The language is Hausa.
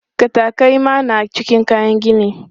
Katakai ma na cikin kayan gini.